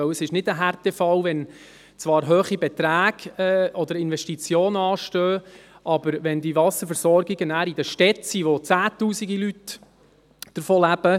Es ist nicht ein Härtefall, wenn zwar hohe Beträge oder Investitionen anstehen, diese Wasserversorgung aber in Städten ist, in welchen Zehntausende Leute davon leben.